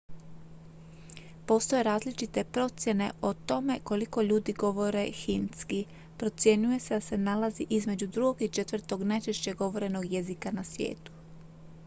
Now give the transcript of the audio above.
postoje različite procjene o tome koliko ljudi govori hindski procjenjuje se da se nalazi između drugog i četvrtog najčešće govorenog jezika na svijetu